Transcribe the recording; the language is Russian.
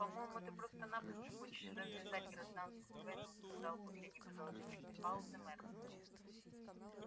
по-моему ты просто-напросто хочешь развязать гражданскую войну сказал после непродолжительной паузы мэр